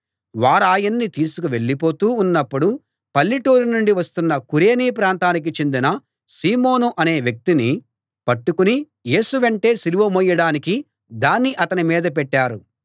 వారాయన్ని తీసుకు వెళ్ళిపోతూ ఉన్నప్పుడు పల్లెటూరి నుండి వస్తున్న కురేనీ ప్రాంతానికి చెందిన సీమోను అనే వ్యక్తిని పట్టుకుని యేసు వెంటే సిలువ మోయడానికి దాన్ని అతని మీద పెట్టారు